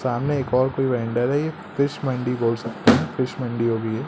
सामने एक और कोई वैंडर है ये फिश मंडी बोल सकते हैं फिश मंडी होगी ये।